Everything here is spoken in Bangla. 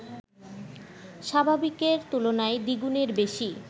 স্বাভাবিকের তুলনায় দ্বিগুণের বেশি